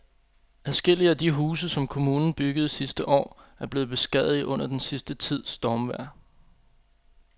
Adskillige af de huse, som kommunen byggede sidste år, er blevet beskadiget under den sidste tids stormvejr.